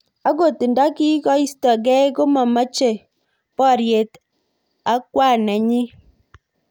Angot ndakikoistokei komameche boryet ak kwan nenyi.